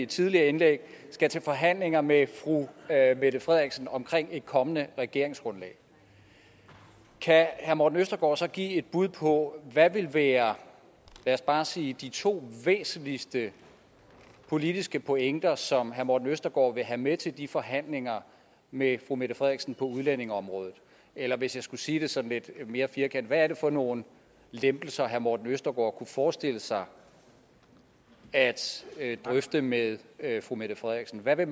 tidligere indlæg skal til forhandlinger med fru mette frederiksen om et kommende regeringsgrundlag kan herre morten østergaard så give et bud på hvad der vil være lad os bare sige de to væsentligste politiske pointer som herre morten østergaard vil have med til de forhandlinger med fru mette frederiksen på udlændingeområdet eller hvis jeg skulle sige det sådan lidt mere firkantet hvad er det for nogle lempelser herre morten østergaard kunne forestille sig at drøfte med fru mette frederiksen hvad vil